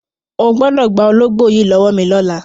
O gbọ́dọ̀ gba ológbò yìí lọ́wọ́ mi lọ́la!